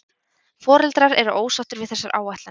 Foreldrar eru ósáttir við þessar áætlanir